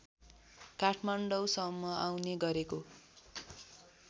काठमाडौँसम्म आउने गरेको